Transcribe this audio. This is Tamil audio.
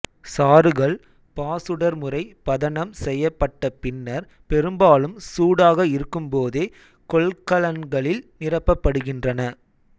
சாறுகள் பாசுடர்முறை பதனம் செய்யப்பட்ட பின்னர் பெரும்பாலும் சூடாக இருக்கும்போதே கொள்கலன்களில் நிரப்பப்படுகின்றன